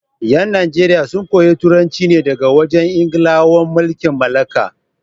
yan Najeriya sun koyi Turanci ne daga wajen Ingilawan mulkin mallaka.